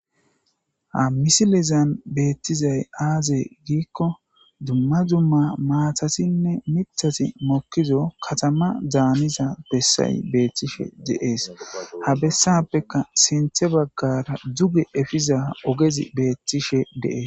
ha misilezan beettizay aaze giikko dumma dumma maatasinne mithasi mokkizo katama daaniza bessay beethtishe deees ha bessappeka sinthe baggara duge efiza ogezi beettishe deees